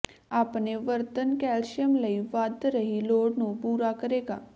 ਆਪਣੇ ਵਰਤਣ ਕੈਲਸ਼ੀਅਮ ਲਈ ਵੱਧ ਰਹੀ ਲੋੜ ਨੂੰ ਪੂਰਾ ਕਰੇਗਾ